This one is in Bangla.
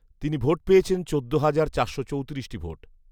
তিনি ভোট পেয়েছেন চোদ্দ হাজার চারশো চৌতিরিশটি ভোট।